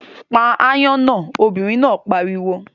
Pa aáyán náà, obìnrin náà pariwo!